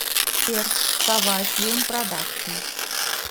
сбер сова филм продакшин